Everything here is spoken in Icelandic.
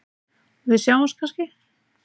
Við sjáumst kannski?